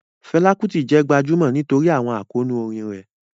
Fela Kuti jẹ́ gbajúmọ̀ nítorí àwọn àkóónú orin rẹ̀.